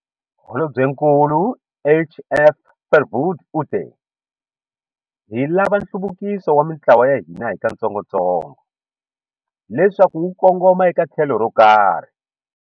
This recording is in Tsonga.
Holobyenkulu HF Verwoerd u te- Hi lava nhluvukiso wa mitlawa ya hina hikatsongotsongo leswaku wu kongoma eka tlhelo ro karhi.